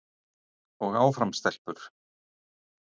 Og áfram stelpur!